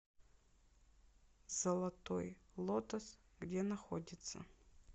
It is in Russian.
золотой лотос где находится